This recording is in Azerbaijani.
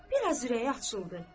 Biraz ürəyi açıldı.